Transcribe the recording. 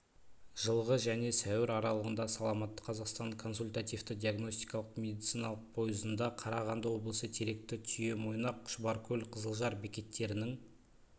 жылғы және сәуір аралығында саламатты қазақстан консультативті-диагностикалық медициналық пойызында қарағанды облысы теректі түйемойнақ шұбаркөл қызылжар бекеттерінің